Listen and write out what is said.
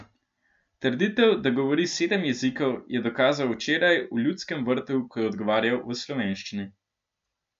Trditev, da govori sedem jezikov, je dokazal včeraj v Ljudskem vrtu, ko je odgovarjal v slovenščini.